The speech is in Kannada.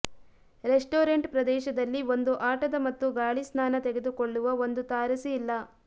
ರೆಸ್ಟೋರೆಂಟ್ ಪ್ರದೇಶದಲ್ಲಿ ಒಂದು ಆಟದ ಮತ್ತು ಗಾಳಿ ಸ್ನಾನ ತೆಗೆದುಕೊಳ್ಳುವ ಒಂದು ತಾರಸಿ ಇಲ್ಲ